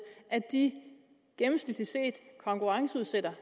at de gennemsnitligt set konkurrenceudsætter